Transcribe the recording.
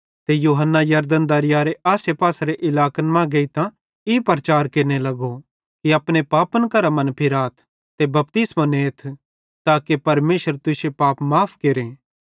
ते यूहन्ना यरदन दरयारे आसेपासेरे इलाकन मां गेइतां ई प्रचार केरने लगो कि अपने पापन करां मनफिराथ ते बपतिस्मो नेथ ताके परमेशर तुश्शे पाप माफ़ केरे